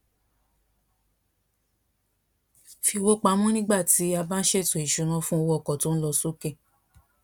fi owo pamo nigba ti a ba n ṣeto isuna fun owo oko to n lo soke